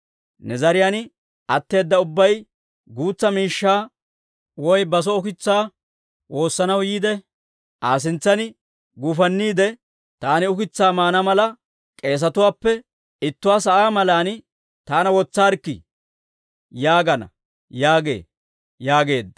Ne zariyaan atteeda ubbay guutsa miishshaa woy baso ukitsaa woossanaw yiide, Aa sintsan guufanniide, ‹Taani ukitsaa maana mala, k'eesetuwaappe ittuwaa sa'aa malan taana wotsaarikkii› yaagana yaagee» yaageedda.